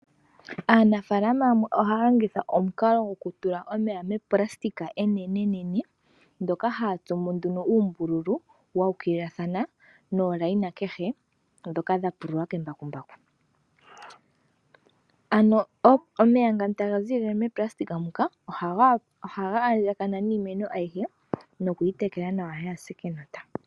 Aanafaalama yamwe ohaya longitha omukalo goku tula omeya monayilona onene nene ndjoka haya tsu mo nduno uumbululu wuukililatha niimpungu kehe mbyoka ya pululwa kembakumbaku. Ano omeya ngano taga ziilile monayilona muka ohaga andjagana niimeno ayihe nokuyitekela kaayi se kenota.